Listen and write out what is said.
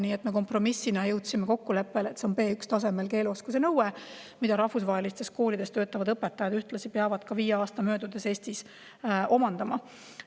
Nii et me kompromissina jõudsime kokkuleppele, et see on B1-tasemel keeleoskus, mille ka rahvusvahelistes koolides töötavad õpetajad peavad viie aasta möödudes Eestis omandama.